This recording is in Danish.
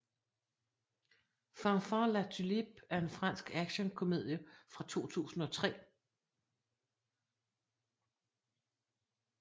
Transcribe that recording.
Fanfan La Tulipe er en fransk actionkomedie fra 2003